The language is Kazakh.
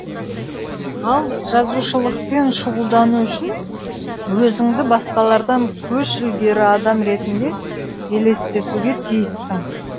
ал жазушылықпен шұғылдану үшін өзіңді басқалардан көш ілгері адам ретінде елестетуге тиіссің